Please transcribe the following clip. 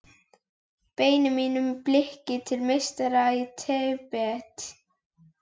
Beini mínu blikki til meistara í Tíbet.